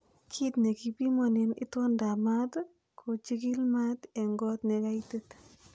Kit nekipimonen itoondab maat kochigil maat en got nekaitit.